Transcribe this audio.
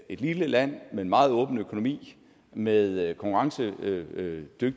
et lille land med en meget åben økonomi og med konkurrencedygtige